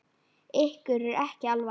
Ykkur er ekki alvara!